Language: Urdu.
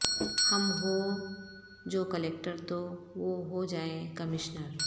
ہم ہوں جو کلکٹر تو وہ ہو جائیں کمشنر